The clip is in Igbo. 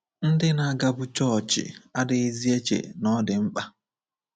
Ndị na-agabu chọọchị adịghịzi eche na ọ dị mkpa.